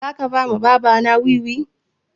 Za ka ba wa baba na wiwi?